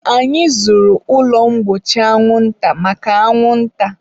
Anyị zụrụ ụlọ mgbochi anwụnta maka anwụnta.